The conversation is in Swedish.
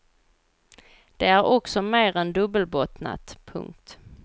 Det är också mer än dubbelbottnat. punkt